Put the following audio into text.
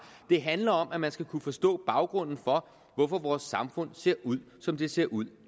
det handler om at man skal kunne forstå baggrunden for at vores samfund ser ud som det ser ud